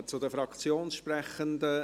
Wir kommen zu den Fraktionssprechenden.